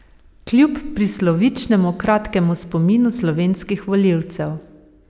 Kljub prislovičnemu kratkemu spominu slovenskih volivcev.